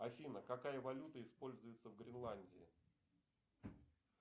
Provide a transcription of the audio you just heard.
афина какая валюта используется в гренландии